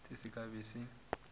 se se ka be se